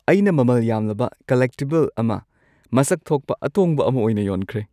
ꯑꯩꯅ ꯃꯃꯜ ꯌꯥꯝꯂꯕ ꯀꯜꯂꯦꯛꯇꯤꯕꯜ ꯑꯃ ꯃꯁꯛ ꯊꯣꯛꯄ ꯑꯇꯣꯡꯕ ꯑꯃ ꯑꯣꯏꯅ ꯌꯣꯟꯈ꯭ꯔꯦ꯫ (ꯄꯣꯠ ꯌꯣꯟꯕ ꯃꯤ)